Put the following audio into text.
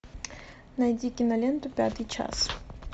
найди киноленту пятый час